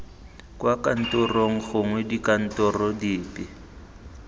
kwa kantorong gongwe dikantorong dipe